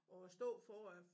Og stå for at